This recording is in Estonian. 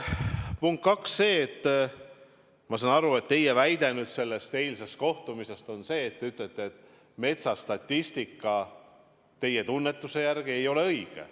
Punkt kaks on see, et ma saan aru, et teie väide eilse kohtumise kohta on see, et te ütlete, et metsastatistika ei ole teie tunnetuse järgi õige.